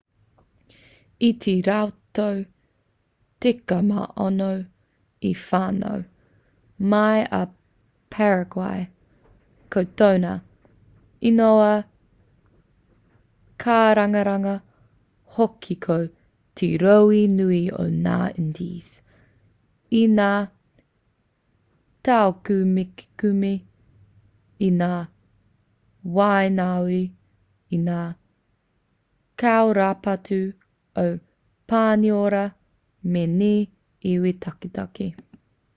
i te rautau 16 i whānau mai a paraguay ko tōna ingoa kārangaranga hoki ko te rohe nui o ngā indies i ngā taukumekume i ngā waenganui i ngā kairaupatu o pāniora me ngā iwi taketake